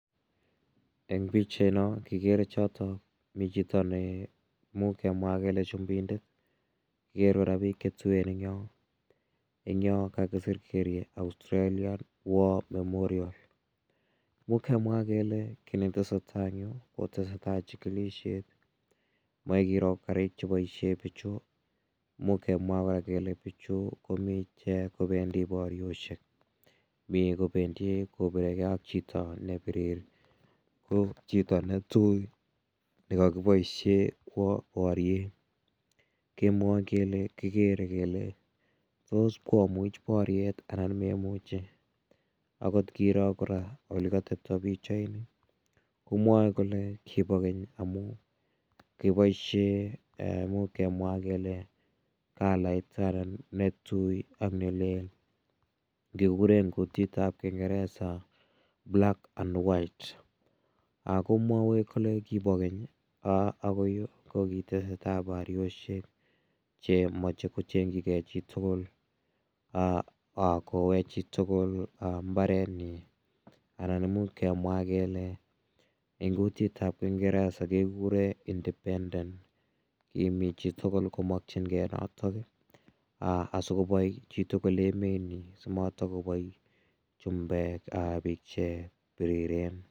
En pichait noon kikere choton chito nei much amwa ale chumindet kikere kora bik chetuen en Yoon kakisr kele Australia war memorial ko kemwa kele kinetesetai en Yoon kotesetai chikilisiet Mae kiro Karik cheboisien bichon imuch kemwae kele bichu kobendii bariosiek chito nebiri, ko chito netui nekakiboisien en boryiet kemwae kele ko sikomuch bariet anan meimiche agot kiro elekatebta pichait ni komae kole kiba keny amuun ih kiboisien kalait netui ak nelel kekuren en kutitab kingereza black and white komwae kole kibo keny kotesetai bariosiek komae kecheng chige chitugul koyae chitugul mbarenyin anan imuch kemwa kele en kutit tab kingereza ko independence chitugul komakienge nato en mbarenyin